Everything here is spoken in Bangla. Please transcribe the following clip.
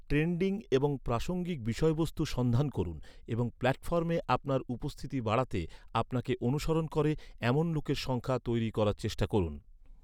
ট্রেন্ডিং এবং প্রাসঙ্গিক বিষয়বস্তু সন্ধান করুন এবং প্ল্যাটফর্মে আপনার উপস্থিতি বাড়াতে, আপনাকে অনুসরণ করে, এমন লোকের সংখ্যা তৈরি করার চেষ্টা করুন।